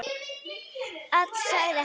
Alla, sagði hann.